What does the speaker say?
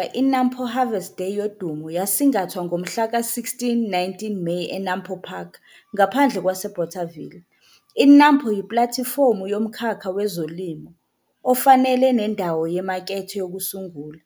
Kulo nyaka, i-NAMPO Harvest Day yodumo yasingathwa ngomhla ka-16 19 Meyi e-NAMPO Park, ngaphandle kwase-Bothaville. I-NAMPO yi-platifomu yomkhakha wezolimo ofanele nendawo yemakethe yokusungula,